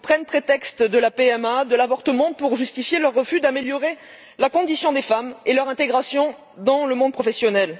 Ils prennent le prétexte de la PMA et de l'avortement pour justifier leur refus d'améliorer la condition des femmes et leur intégration dans le monde professionnel.